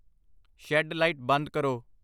shed light ਬੰਦ ਕਰੋ I